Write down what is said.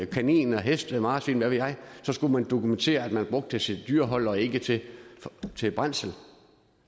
kaniner heste marsvin hvad ved jeg skulle man dokumentere at man brugte sit dyrehold og ikke til til brændsel